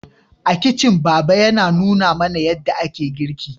A kicin baba ya nuna mana yadda ake girki